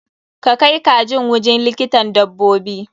Ka kai kajin wujin likitan dabbobi!